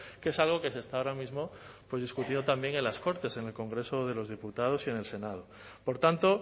que es algo que se está ahora mismo pues discutido también en las cortes en el congreso de los diputados y en el senado por tanto